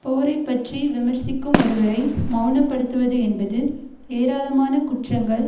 போரை பற்றி விமர்சிக்கும் ஒருவரை மெளனப்படுத்துவது என்பது ஏராளமான குற்றங்கள்